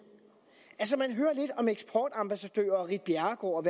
altså man hører lidt om eksportambassadører og ritt bjerregaard og